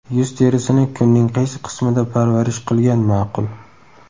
Yuz terisini kunning qaysi qismida parvarish qilgan ma’qul?.